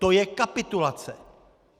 To je kapitulace!